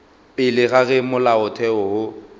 pele ga ge molaotheo wo